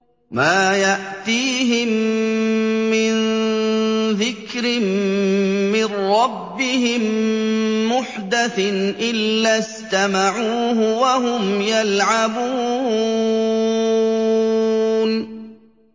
مَا يَأْتِيهِم مِّن ذِكْرٍ مِّن رَّبِّهِم مُّحْدَثٍ إِلَّا اسْتَمَعُوهُ وَهُمْ يَلْعَبُونَ